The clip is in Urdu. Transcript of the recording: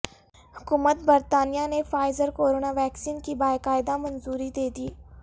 حکومت برطانیہ نے فائزر کورونا ویکسین کی باقاعدہ منظوری دے دی